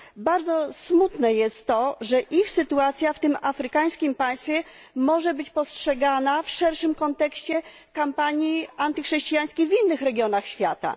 Bardzo smutne jest to, że ich sytuacja w tym afrykańskim państwie może być postrzegana w szerszym kontekście kampanii antychrześcijańskiej w innych regionach świata.